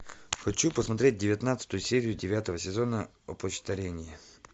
хочу посмотреть девятнадцатую серию девятого сезона опочтарение